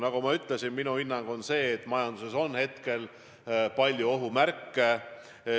Nagu ma ütlesin, minu hinnang on see, et majanduses on palju ohumärke.